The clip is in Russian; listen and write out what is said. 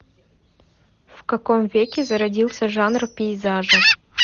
в каком веке зародился жанр пейзажа